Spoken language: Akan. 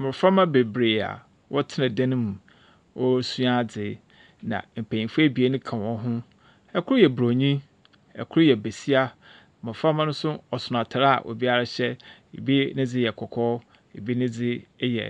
Mboframbra beberee a wɔtsena dan mu wɔresua adze. N mpenyinfo ebien ka hɔn ho. Kor yɛ Bronyi, kor yɛ besia. Mboframba no so ɔson atar a obiara hyɛ. Bi ne dze yɛ kɔkɔɔ, bi ne dze yɛ